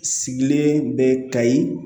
Sigilen bɛ kayi